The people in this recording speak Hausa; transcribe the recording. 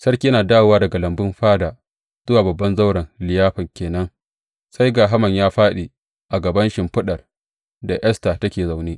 Sarki yana dawowa daga lambun fada zuwa babban zauren liyafan ke nan, sai ga Haman ya fāɗi a kan shimfiɗar da Esta take zaune.